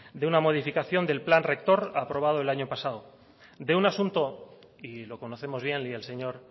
de una modificación del plan rector aprobado el año pasado de un asunto y lo conocemos bien y el señor